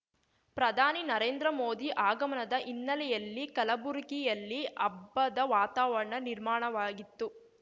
ಪ್ರಧಾನಿ ನರೇಂದ್ರ ಮೋದಿ ಆಗಮನದ ಹಿನ್ನೆಲೆಯಲ್ಲಿ ಕಲಬುರಗಿಯಲ್ಲಿ ಹಬ್ಬದ ವಾತಾವರಣ ನಿರ್ಮಾಣವಾಗಿತ್ತು